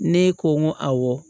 Ne ko n ko awɔ